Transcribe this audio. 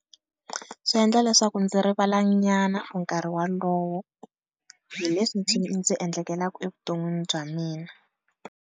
Swi endla leswaku ndzi rivalanyana nkarhi wolowo hi leswi ndzi endlekaka evuton'wini bya mina.